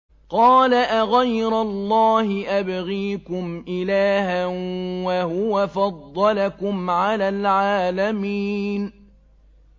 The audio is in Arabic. قَالَ أَغَيْرَ اللَّهِ أَبْغِيكُمْ إِلَٰهًا وَهُوَ فَضَّلَكُمْ عَلَى الْعَالَمِينَ